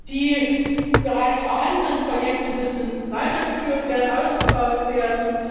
Die bereits vorhandenen Projekte müssen weitergeführt und ausgebaut werden.